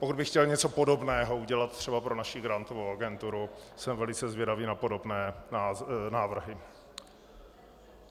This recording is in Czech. Pokud by chtěl něco podobného udělat třeba pro naši grantovou agenturu, jsem velice zvědavý na podobné návrhy.